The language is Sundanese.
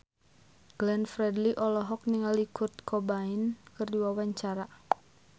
Glenn Fredly olohok ningali Kurt Cobain keur diwawancara